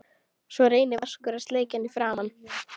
Svo reynir Vaskur að sleikja hann í framan.